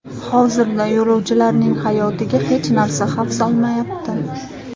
Hozirda yo‘lovchilarning hayotiga hech narsa xavf solmayapti.